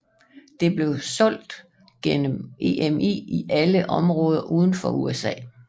Det blev solgt gennem EMI i alle områder uden for USA